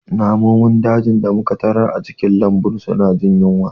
Namun dajin da muka tarar a cikin lambun suna jin yunwa